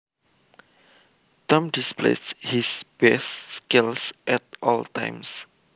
Tom displays his best skills at all times